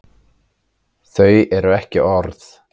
Þau eru ekki orð.